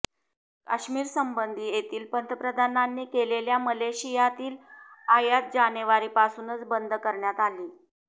काश्मिरसंबंधी तेथील पंतप्रधानांनी केलेल्या मलेशियातील आयात जानेवारीपासूनच बंद करण्यात आली